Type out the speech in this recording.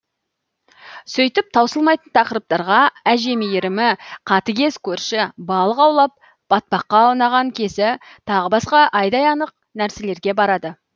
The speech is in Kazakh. сөйтіп таусылмайтын тақырыптарға әже мейірімі қатыгез көрші балық аулап батпаққа аунаған кезі тағы басқа айдай анық нәрселерге барады